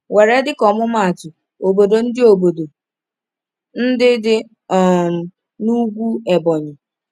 Were dịka ọmụmaatụ obodo ndị obodo ndị dị um n’ugwu Ebonyi.